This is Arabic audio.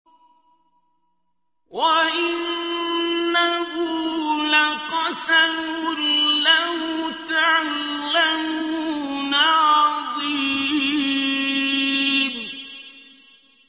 وَإِنَّهُ لَقَسَمٌ لَّوْ تَعْلَمُونَ عَظِيمٌ